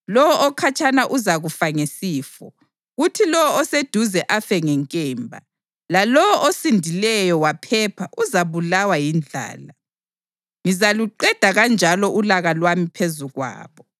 Lowo okhatshana uzakufa ngesifo, kuthi lowo oseduze afe ngenkemba, lalowo osindileyo waphepha uzabulawa yindlala. Ngizaluqeda kanjalo ulaka lwami phezu kwabo.